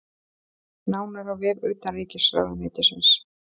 Nánar á vef utanríkisráðuneytisins